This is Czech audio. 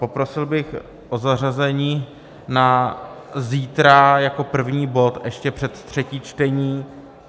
Poprosil bych o zařazení na zítra jako první bod ještě před třetí čtení.